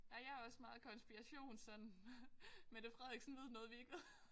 Ej jeg også meget konspirations sådan Mette Frederiksen ved noget vi ikke ved